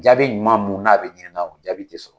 Jaabi ɲuman mu n'a be ɲinika o jaabi te sɔrɔ